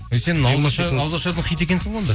ауызашардың хит екенсің ғой онда